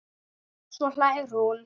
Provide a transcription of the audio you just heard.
Svo hlær hún.